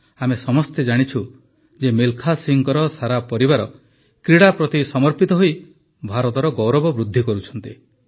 ଆମେ ସମସ୍ତେ ଜାଣିଛୁ ଯେ ମିଲଖା ସିଂହଙ୍କ ସାରା ପରିବାର କ୍ରୀଡ଼ା ପ୍ରତି ସମର୍ପିତ ହୋଇ ଭାରତର ଗୌରବ ବୃଦ୍ଧି କରୁଛନ୍ତି